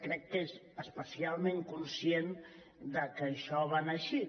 crec que és especialment conscient que això va anar així